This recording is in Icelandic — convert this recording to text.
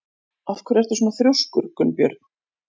Af hverju ertu svona þrjóskur, Gunnbjörn?